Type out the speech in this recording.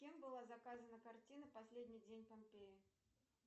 кем была заказана картина последний день помпеи